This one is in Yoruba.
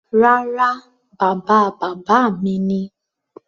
Rárá, bàba bàbá mi ni.